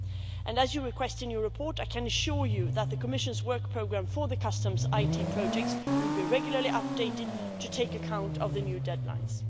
And, as you request in your report, I can assure you that the Commission's work programme for the customs IT projects will be regularly updated to take account of the new deadlines.